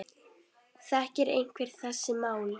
Þekkir einhver þessi mál?